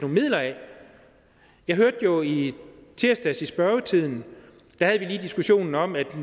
midler af jeg hørte jo i tirsdags i spørgetimen da vi havde diskussionen om at